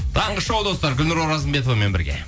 таңғы шоу достар гүлнұр оразымбетовамен бірге